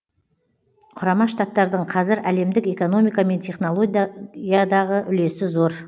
құрама штаттардың қазір әлемдік экономика мен технологиядағы үлесі зор